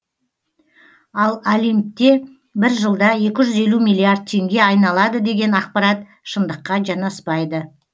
ал олимпте бір жылда екі жүз елу миллиард теңге айналады деген ақпарат шындыққа жанаспайды